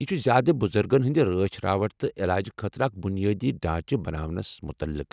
یہ چھ زیٛادٕ بُزرگن ہنٛدِ رٲچھ راوٹھٕ تہٕ علاجہٕ خٲطرٕ اکھ بنیٲدی ڈانچہٕ بناونس مٗتعلق ۔